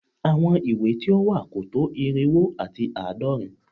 àwọn ìwé tí ó wà kò tó irínwó àti àádọ́rin